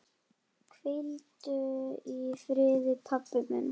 Hvíldu í friði, pabbi minn.